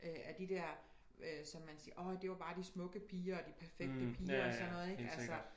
Øh af de dér øh som man siger orh det var bare de smukke piger og de perfekte piger og sådan noget ik altså